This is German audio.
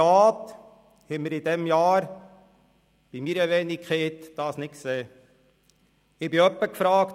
Es ist ein bisschen schade, dass wir dies in diesem Jahr mit meiner Wenigkeit nicht sehen konnten.